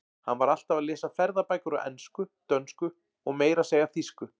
Hann var alltaf að lesa ferðabækur á ensku, dönsku og meira að segja þýsku.